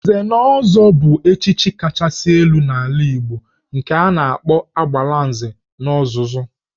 Nze na ọzọ bụ echichi kachasị elu n'ala Igbo nke a na-akpọ Agbalanze n'ozuzu